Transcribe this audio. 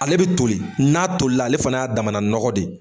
Ale be toli, n'a toli la ale fana y'a damana nɔgɔ de ye.